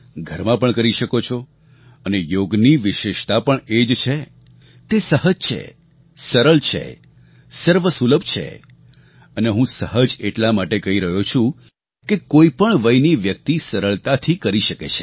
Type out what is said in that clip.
ઘરમાં પણ કરી શકો છો અને યોગની વિશેષતા પણ એ જ છે તે સહજ છે સરળ છે સર્વસુલભ છે અને હું સહજ એટલા માટે કહી રહ્યો છું કે કોઈ પણ વયની વ્યક્તિ સરળતાથી કરી શકે છે